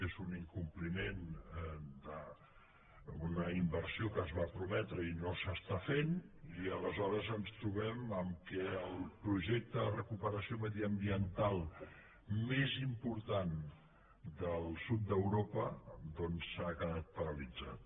és un incompliment d’una inversió que es va prometre i no s’està fent i aleshores ens trobem que el projecte de recuperació mediambiental més important del sud d’europa doncs ha quedat paralitzat